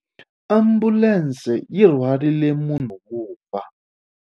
Ambulense yi rhwarile munhu wo fa.